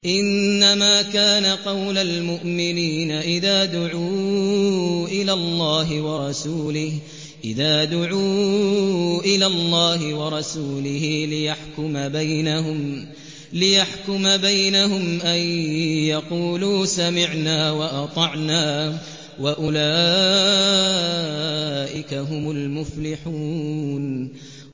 إِنَّمَا كَانَ قَوْلَ الْمُؤْمِنِينَ إِذَا دُعُوا إِلَى اللَّهِ وَرَسُولِهِ لِيَحْكُمَ بَيْنَهُمْ أَن يَقُولُوا سَمِعْنَا وَأَطَعْنَا ۚ وَأُولَٰئِكَ هُمُ الْمُفْلِحُونَ